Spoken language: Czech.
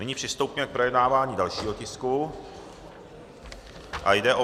Nyní přistoupíme k projednávání dalšího tisku a jde o